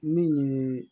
Min ye